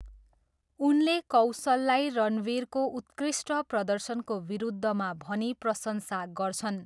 उनले कौशललाई रणवीरको उत्कृष्ट प्रदर्शनको विरुद्धमा भनी प्रशंसा गर्छन्।